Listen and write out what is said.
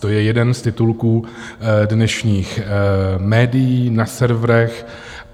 To je jeden z titulků dnešních médií na serverech.